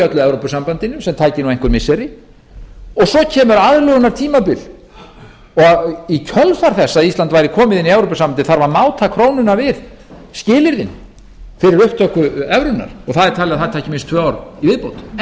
evrópusambandinu sem tæki einhver missiri svo kemur aðlögunartímabil og í kjölfar þess að ísland væri komið inn í evrópusambandið þarf að máta krónuna við skilyrðin fyrir upptöku evrunnar og það er talið að það taki